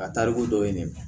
A tariku dɔ ye ne ye